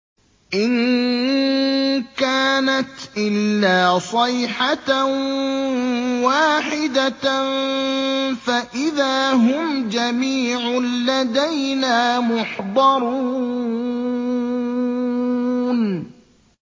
إِن كَانَتْ إِلَّا صَيْحَةً وَاحِدَةً فَإِذَا هُمْ جَمِيعٌ لَّدَيْنَا مُحْضَرُونَ